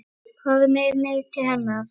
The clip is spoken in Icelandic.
Farðu með mig til hennar.